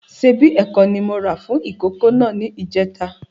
Ṣíbí ẹ̀kọ ni mó rà fún ìkókó náà ni ìjẹta